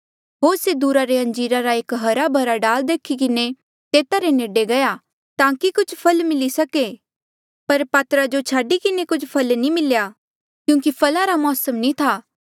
होर से दूरा ले अंजीरा रा एक हरा भरा डाल देखी किन्हें तेता रे नेडे गया ताकि कुछ फल मिली सके पर पातरा जो छाडी किन्हें कुछ फल नी मिल्या क्यूंकि फला रा मौसम नी था